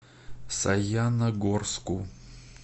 саяногорску